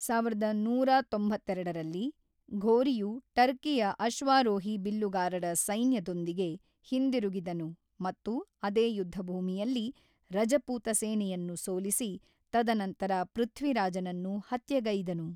ಸಾವಿರದ ಒಂಬೈನೂರ ತೊಂಬತ್ತೆರಡರಲ್ಲಿ ಘೋರಿಯು ಟರ್ಕಿಯ ಅಶ್ವಾರೋಹಿ ಬಿಲ್ಲುಗಾರರ ಸೈನ್ಯದೊಂದಿಗೆ ಹಿಂದಿರುಗಿದನು ಮತ್ತು ಅದೇ ಯುದ್ಧಭೂಮಿಯಲ್ಲಿ ರಜಪೂತ ಸೇನೆಯನ್ನು ಸೋಲಿಸಿ, ತದನಂತರ ಪೃಥ್ವಿರಾಜನನ್ನು ಹತ್ಯೆಗೈದನು.